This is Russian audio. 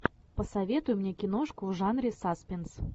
посоветуй мне киношку в жанре саспинс